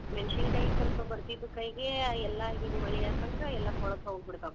ಮೆಣಸಿನಕಾಯಿ ಸ್ವಲ್ಪ ಬರ್ತಿದ್ವು ಕೈಗೆ ಆ ಎಲ್ಲಾ ಹಿಂಗ್ ಮಳೆಯಾತಂದ್ರ ಎಲ್ಲ ಕೊಳ್ಳೆತ್ಹೋಗ್ ಬಿಡತಾವ್.